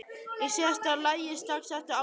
Í síðasta lagi strax eftir áramót.